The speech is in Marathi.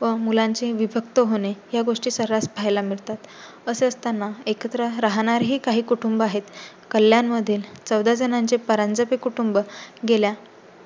व मुलांचे विभक्त होणे या गोष्टी सर्रास पाहायला मिळतात. असेच असताना एकत्र राहणार ही काही कुटुंब आहेत. कल्याण मध्ये चौदा जणांचे परांजपे कुटुंब गेल्या